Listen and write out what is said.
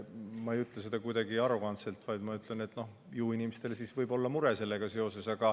Ma ei ütle seda kuidagi arrogantselt, vaid ma ütlen, et ju inimestel võib olla mure sellega seoses.